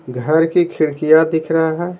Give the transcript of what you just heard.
घर की खिड़कियां दिख रहा है।